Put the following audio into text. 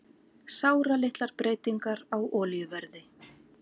Sáralitlar breytingar á olíuverði